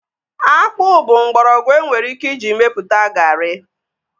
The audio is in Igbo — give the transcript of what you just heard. Akpụ bụ mgbọrọgwụ enwere ike iji mepụta garị